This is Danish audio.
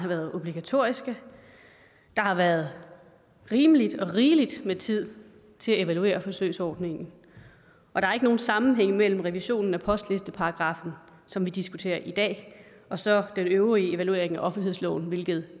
været obligatoriske der har været rigelig rigelig med tid til at evaluere forsøgsordningen og der er ikke nogen sammenhæng mellem revisionen af postlisteparagraffen som vi diskuterer i dag og så den øvrige evaluering af offentlighedsloven hvilket